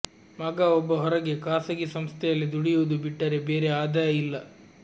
ಮಗ ಒಬ್ಬ ಹೊರಗೆ ಖಾಸಗಿ ಸಂಸ್ಥೆಯಲ್ಲಿ ದುಡಿಯುವುದು ಬಿಟ್ಟರೆ ಬೇರೆ ಆದಾಯ ಇಲ್ಲ